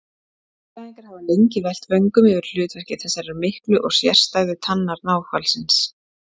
Líffræðingar hafa lengi velt vöngum yfir hlutverki þessarar miklu og sérstæðu tannar náhvalsins.